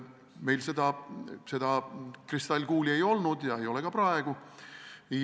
Meil seda kristallkuuli ei olnud ja ei ole ka praegu.